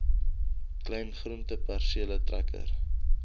klein groentepersele trekker